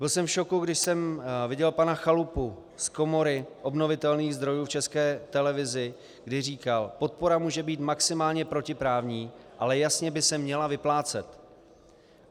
Byl jsem v šoku, když jsem viděl pana Chalupu z Komory obnovitelných zdrojů v České televizi, kdy říkal: Podpora může být maximálně protiprávní, ale jasně by se měla vyplácet.